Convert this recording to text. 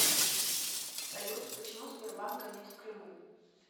салют почему сбербанка нет в крыму